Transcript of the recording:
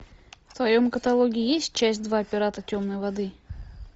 в твоем каталоге есть часть два пираты темной воды